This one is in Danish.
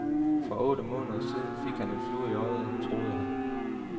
For otte måneder siden fik han en flue i øjet, , troede han.